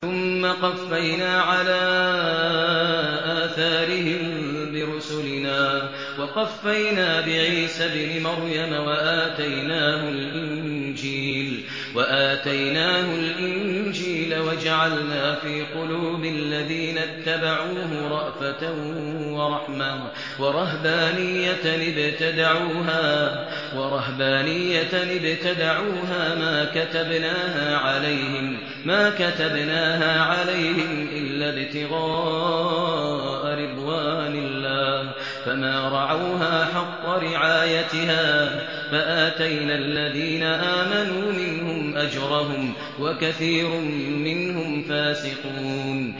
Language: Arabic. ثُمَّ قَفَّيْنَا عَلَىٰ آثَارِهِم بِرُسُلِنَا وَقَفَّيْنَا بِعِيسَى ابْنِ مَرْيَمَ وَآتَيْنَاهُ الْإِنجِيلَ وَجَعَلْنَا فِي قُلُوبِ الَّذِينَ اتَّبَعُوهُ رَأْفَةً وَرَحْمَةً وَرَهْبَانِيَّةً ابْتَدَعُوهَا مَا كَتَبْنَاهَا عَلَيْهِمْ إِلَّا ابْتِغَاءَ رِضْوَانِ اللَّهِ فَمَا رَعَوْهَا حَقَّ رِعَايَتِهَا ۖ فَآتَيْنَا الَّذِينَ آمَنُوا مِنْهُمْ أَجْرَهُمْ ۖ وَكَثِيرٌ مِّنْهُمْ فَاسِقُونَ